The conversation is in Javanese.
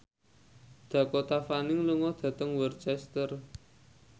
Dakota Fanning lunga dhateng Worcester